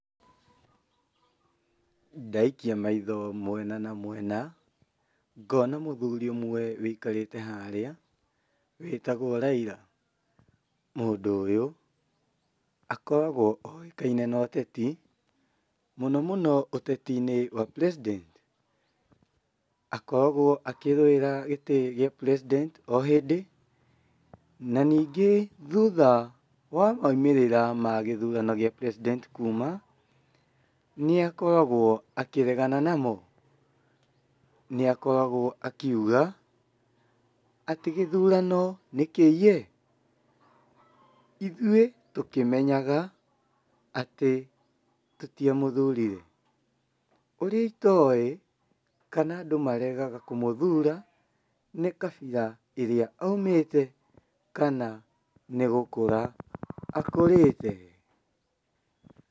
Ndaikia maitho mwena na mwena, ngona mũthuri ũmwe wũikarĩte harĩa wĩtagwo Raila, mũndũ ũyũ akoragwo oĩkaine na ũteti mũno mũno ũteti-inĩ wa president akoragwo akĩrũĩra gĩtĩ gĩa president o hĩndĩ na ningĩ thutha wa maumĩrĩra ma gũthurano gĩa president kuuma, nĩ akoragwo akĩregana namo, nĩ akoragwo akiuga atĩ gĩthurano nĩ kĩiye, ithuĩ tũkĩmenyaga atĩ tũtiamũthurire ũrĩa itoĩ kana andũ maregaga kũmũthura nĩ kabira ĩrĩa aumĩte kana nĩ gũkũra akũrĩte.